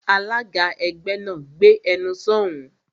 Alága ẹgbẹ́ náà, "Gbé ẹnu sọ̀ún!"